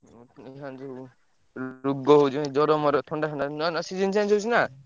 ଅଇଖିନା ଯୋଉ ରୋଗ ହଉଛି ମାନେ ଜ୍ଵର ମର ଥଣ୍ଡା ଫଣ୍ଡା ନୂଆ ନୂଆ season change ହଉଛି ନା।